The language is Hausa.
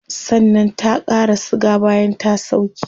Sannan ta qara siga bayan ta sauke